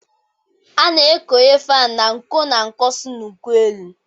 A na-ekowe faani n'uko na nko si n'uko ụlọ